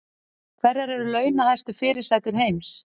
Hverjar eru launahæstu fyrirsætur heims